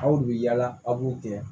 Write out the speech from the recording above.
Aw de bi yaala aw b'u gɛn